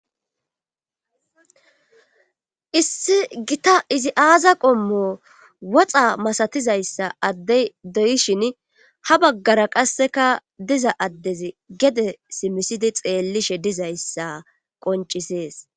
Issi gita izi aaza qommo woxa masatizayssa addey doyishin ha baggara qasseka diza addezi gede simisidi xeellishe dizayssa qoncisees.